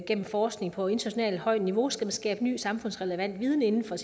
gennem forskning på internationalt højt niveau skal skabe ny samfundsrelevant viden inden for